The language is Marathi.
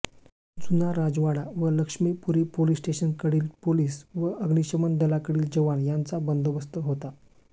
जुना राजवाडा व लक्ष्मीपुरी पोलिस स्टेशनकडील पोलिस व अग्निशमन दलाकडील जवान यांचा बंदोबस्त होता